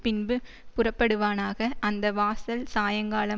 பின்பு புறப்படுவானாக அந்த வாசல் சாயங்காலம்